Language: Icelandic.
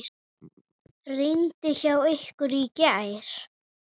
Rigndi hjá ykkur í gær?